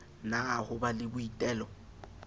na ho ba le boitelo